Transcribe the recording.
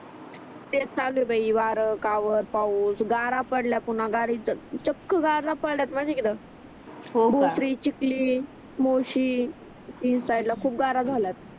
तेच चाल्लये बाई वारा कावत पाऊस गारा पडल्या पुन्हा गारीच चक्क गारा पडल्या होका मोरची चिकली मोरशी तीन साईडला खूप गारा झाल्यात